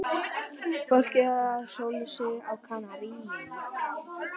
Fólkið að sóla sig á Kanarí.